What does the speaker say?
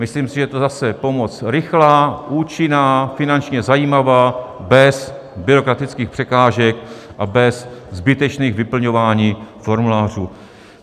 Myslím si, že je to zase pomoc rychlá, účinná, finančně zajímavá, bez byrokratických překážek a bez zbytečných vyplňování formulářů.